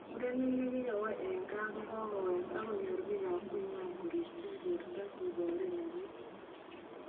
Murenik nekikowo eng ga kokowek akonyor bikap konywan korirchin borto kebore nenyin.